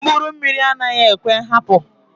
Mkpụrụ mmiri anaghị ekwe nhapu.